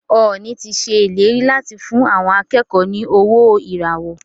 Ọọ̀ni ti ṣèlérí láti fún àwọn akẹ́kọ̀ọ́ ní owó ìràwọ́.